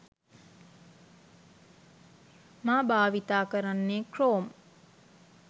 මා භාවිතා කරන්නේ ක්‍රෝම්.